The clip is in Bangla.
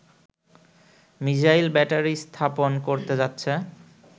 মিসাইল ব্যাটারি স্থাপন করতে যাচ্ছে